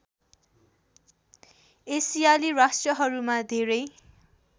एसियाली राष्ट्रहरूमा धेरै